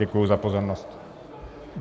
Děkuji za pozornost.